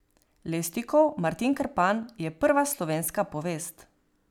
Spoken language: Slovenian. Levstikov Martin Krpan je prva slovenska povest.